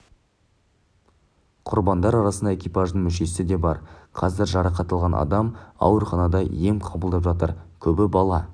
құрбандар арасында экипаждың мүшесі де бар қазір жарақат алған адам ауруханада ем қабылдап жатыр көбі бала